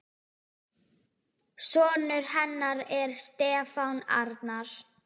Sonur hennar er Stefán Arnar.